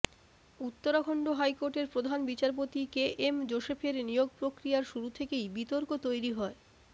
উত্তরাখন্ড হাইকোর্টের প্রধান বিচারপতি কে এম জোসেফের নিয়োগ প্রক্রিয়ার শুরু থেকেই বিতর্ক তৈরি হয়